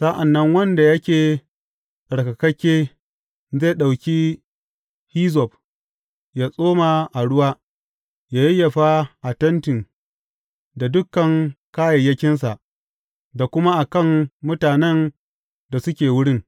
Sa’an nan wanda yake tsarkakakke, zai ɗauki hizzob yă tsoma a ruwa, yă yayyafa a tentin da dukan kayayyakinsa, da kuma a kan mutanen da suke wurin.